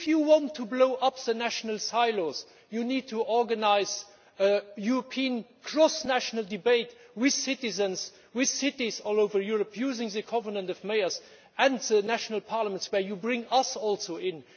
If you want to blow up the national silos, you need to organise a European cross national debate with citizens, with cities all over Europe using the Covenant of Mayors and the national parliaments, where you also bring us in.